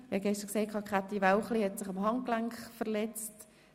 Wie gestern erwähnt, hat sich Grossrätin Wälchli gestern am Handgelenk verletzt.